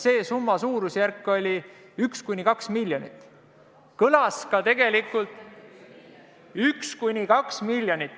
See summa oli suurusjärgus 1–2 miljonit.